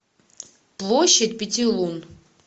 площадь пяти лун